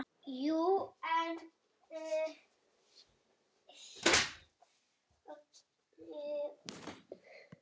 Jú, en